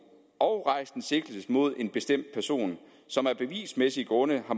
og rejst en sigtelse mod en bestemt person som af bevismæssige grunde har